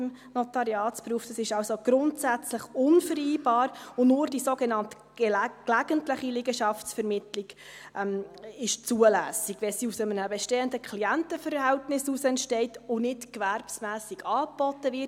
Dies ist also grundsätzlich unvereinbar, und nur die sogenannte gelegentliche Liegenschaftsvermittlung ist zulässig, wenn sie aus einem bestehenden Klientenverhältnis heraus entsteht und nicht gewerbsmässig angeboten wird.